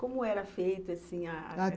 Como era feita assim a